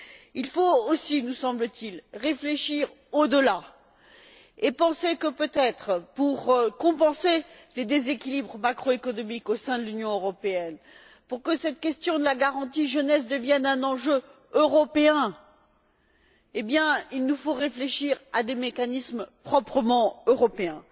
Il faut aussi, nous semble t il, réfléchir au delà et penser que, peut être, pour compenser les déséquilibres macroéconomiques au sein de l'Union européenne, pour que cette question de la garantie jeunesse devienne un enjeu européen, il nous faut réfléchir à des mécanismes proprement européens.